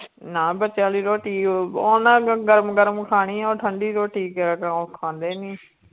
ਨਾ ਬੱਚਿਆਂ ਲਈ ਰੋਟੀ ਉਹ ਉਹਨਾਂ ਗਰਮ ਗਰਮ ਖਾਣੀ ਹੈ ਉਹ ਠੰਢੀ ਰੋਟੀ ਉਹ ਖਾਂਦੇ ਨੀ।